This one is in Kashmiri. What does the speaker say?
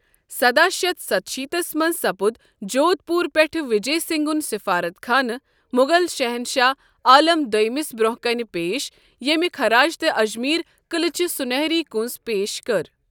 سداہ شیتھ ستٕشیتھس منز ، سپُد جودھ پور پیٹھہٕ وجے سنگھن سفارت خانہٕ مُغل شہنشاہ عالم دویمس برونہہ كٕنہِ پیش ، ییمہِ خراجتہٕ اجمیر قلعٕچ سونہری كوٗنٛز پیش کٔر۔